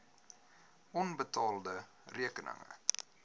onbetaalde rekeninge